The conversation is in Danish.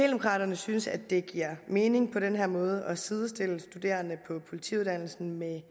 synes at det giver mening på den her måde at sidestille studerende på politiuddannelsen med